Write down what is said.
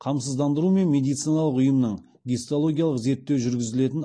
қамсыздандыру мен медициналық ұйымның гистологиялық зерттеу жүргізілетін